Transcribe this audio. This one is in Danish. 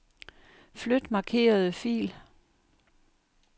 Flyt markerede fil.